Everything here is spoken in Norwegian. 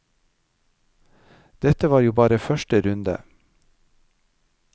Dette var jo bare første runde.